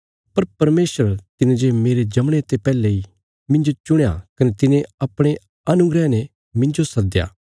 पर परमेशर तिने जे मेरे जमणे ते पैहले इ मिन्जो चुणया कने तिने अपणे अनुग्रह ने मिन्जो सद्दया